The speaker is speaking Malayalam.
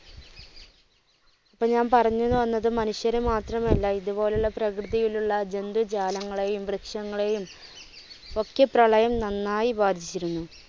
ഇപ്പോ ഞാൻ പറഞ്ഞ് വന്നത് മനുഷ്യരെ മാത്രം അല്ല ഇതുപോലുള്ള പ്രകൃതിയിലുള്ള ജന്തുജാലങ്ങളെയും വൃക്ഷങ്ങളെയും ഒക്കെ പ്രളയം നന്നായി ബാധിച്ചിരുന്നു.